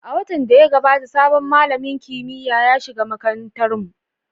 A watan da ya gabata, sabon malamin kimiyya ya shiga makarantarmu.